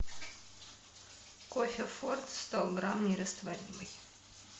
кофе форт сто грамм нерастворимый